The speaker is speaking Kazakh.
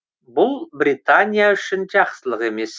бұл британия үшін жақсылық емес